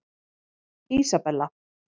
Ísabella